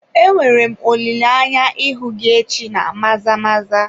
Enwere m olileanya ịhụ gị echi na Maza-maza.